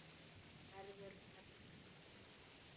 Verður perla.